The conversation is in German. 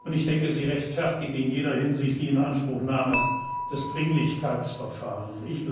Ich denke, sie rechtfertigt in jeder Hinsicht die Inanspruchnahme des Dringlichkeitsverfahrens.